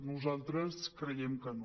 nosaltres creiem que no